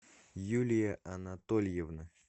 юлия анатольевна